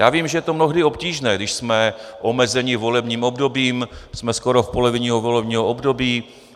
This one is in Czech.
Já vím, že je to mnohdy obtížné, když jsme omezeni volebním obdobím, jsme skoro v polovině volebního období.